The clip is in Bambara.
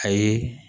A ye